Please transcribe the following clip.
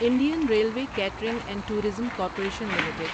Indian Railway Catering and Tourism Corporation limited